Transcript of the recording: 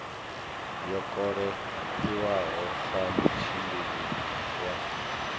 yo kolekiwaho sa mutshimbidzi wa